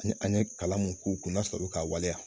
An ye an ye kalan mun k'u kun na sɔrɔ u be k'a waleya